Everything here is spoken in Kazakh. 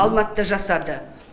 алматыда жасады